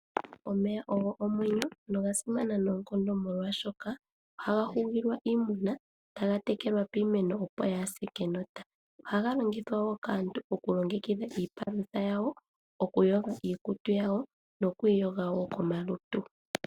Omeya ogo omwenyo noga simana nookondo molwaashoka ohaga hugilwa iimuna, ohaga tekelwa piimeno kaayi se kenota, ohaga longithwa wo okulongekidha iipalutha yawo, oku yoga iikutu yawo nokwiiyoga wo komalutu.